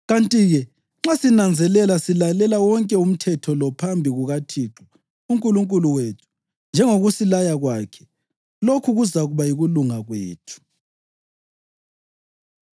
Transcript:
Kanti-ke nxa sinanzelela silalela wonke umthetho lo phambi kukaThixo uNkulunkulu wethu, njengokusilaya kwakhe, lokhu kuzakuba yikulunga kwethu.’ ”